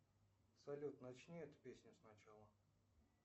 салют начни эту песню сначала